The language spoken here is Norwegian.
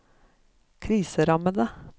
kriserammede